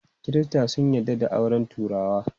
Kirista sun yarda da auren turawa.